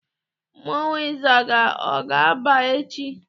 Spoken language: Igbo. Mmọnwụ ịzaga, ọ ga-agba echi?